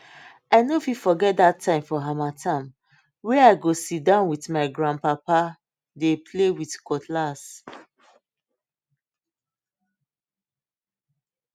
i no fit forget that time for harmattan wey i go sit down with my grandpapa dey play with cutlass